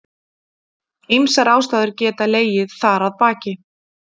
Ýmsar ástæður geta legið þar að baki.